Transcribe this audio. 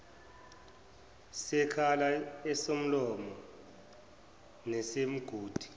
sekhala esomlomo nesomgudu